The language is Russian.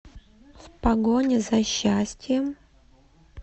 в погоне за счастьем